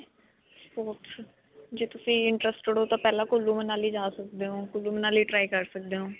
ਜੈ ਤੁਸੀ interested ਹੋ ਤਾਂ ਪਹਿਲਾ ਕੁੱਲੂ, ਮਨਾਲੀ ਜਾ ਸਕਦੇ ਹੋ. ਕੁੱਲੂ, ਮਨਾਲੀ try ਕਰ ਸਕਦੇ ਹੋ.